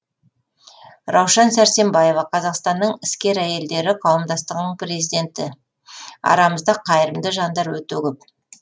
раушан сәрсембаева қазақстанның іскер әйелдері қауымдастығының президенті арамызда қайырымды жандар өте көп